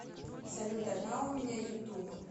салют одна у меня ютуб